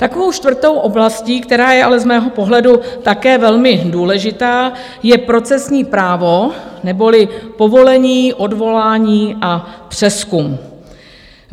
Takovou čtvrtou oblastí, která je ale z mého pohledu také velmi důležitá, je procesní právo neboli povolení, odvolání a přezkum.